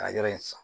A ka yɔrɔ in san